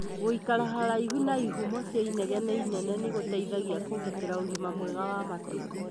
Gũikara haraihu na ihumo cia inegene inene nĩgũteithagia kũgitĩra ũgima mwega wa matũ